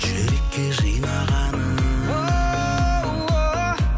жүрекке жинағаның